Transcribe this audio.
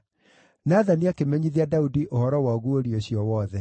Nathani akĩmenyithia Daudi ũhoro wa ũguũrio ũcio wothe.